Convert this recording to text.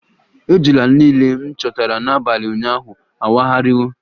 Ejula niile m chịkọtara n'abalị ụnyaahụ awagharịwo